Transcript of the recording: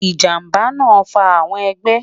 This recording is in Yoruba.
ijamba naa fa awọn ọgbẹ